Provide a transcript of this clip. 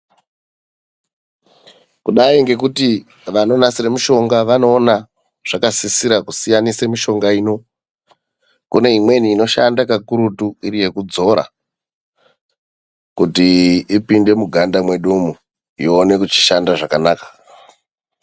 Kudai ngekuti vanonasira mushonga vanoona zvakasisira kusiyanisa mishonga ino. Kune imweni inoshanda kakurutu iri yekudzora kuti ipinde muganda mwedu umwu iwone kushanda zvakanaka.